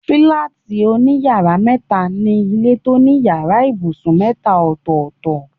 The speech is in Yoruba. Fílátì òní yàrá métaa ni ilé tó ní yàrá ibùsùn métaa ọ̀tọ̀ọ̀tọ̀